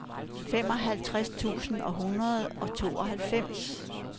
femoghalvtreds tusind syv hundrede og tooghalvfems